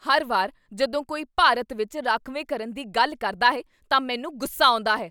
ਹਰ ਵਾਰ ਜਦੋਂ ਕੋਈ ਭਾਰਤ ਵਿੱਚ ਰਾਖਵੇਂਕਰਨ ਦੀ ਗੱਲ ਕਰਦਾ ਹੈ ਤਾਂ ਮੈਨੂੰ ਗੁੱਸਾ ਆਉਂਦਾ ਹੈ।